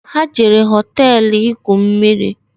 Ha jere hoteelu igwu mmiri